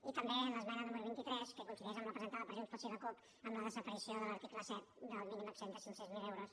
i també l’esmena número vint tres que coincideix amb la presentada per junts pel sí i la cup amb la desaparició de l’article set del mínim exempt de cinc cents miler euros